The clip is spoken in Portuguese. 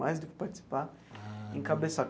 Mais do que participar, encabeçar.